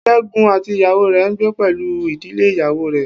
Segun àti ìyàwó rẹ ń gbé pẹ̀lú ìdílé ìyàwó rẹ.